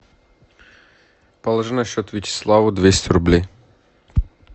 положи на счет вячеславу двести рублей